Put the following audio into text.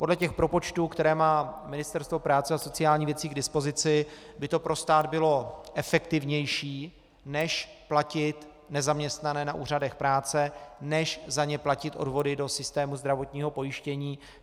Podle těch propočtů, které má Ministerstvo práce a sociálních věcí k dispozici, by to pro stát bylo efektivnější, než platit nezaměstnané na úřadech práce, než za ně platit odvody do systému zdravotního pojištění.